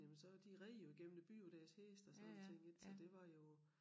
Jamen så de red jo igennem æ by på deres heste og sådan nogle ting indtil det var jo